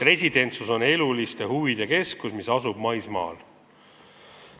Residentsus on eluliste huvide keskus, mis asub maismaal.